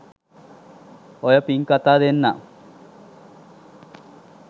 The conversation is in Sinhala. ඔය පිං කතා දෙන්නම්